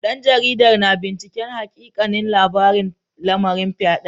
Dan jaridar na binciken hakikanin labarin lamarin fyaden.